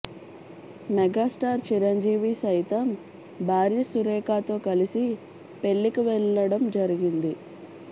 megastar Chiranjeevi సైతం భార్య సురేఖతో కలిసి పెళ్ళికి వెళ్లడం జరిగింది